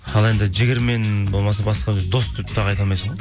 ал енді жігермен болмаса басқа дос деп тағы айта алмайсың ғой